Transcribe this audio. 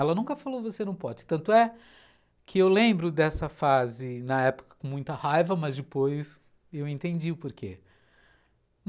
Ela nunca falou você não pode, tanto é que eu lembro dessa fase na época com muita raiva, mas depois eu entendi o porquê.